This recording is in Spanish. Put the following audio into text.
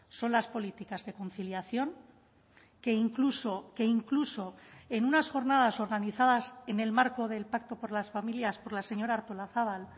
son las políticas de conciliación que incluso que incluso en unas jornadas organizadas en el marco del pacto por las familias por la señora artolazabal